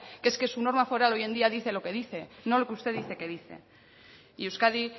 que es que su norma foral hoy en día dice lo que dice no lo que usted dice que dice y euskadi